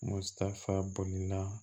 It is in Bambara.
Musa bolila